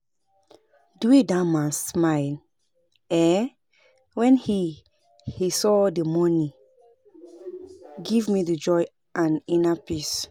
The way dat man smile um wen he he saw the money give me joy and inner peace